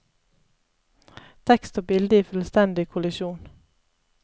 Tekst og bilde i fullstendig kollisjon.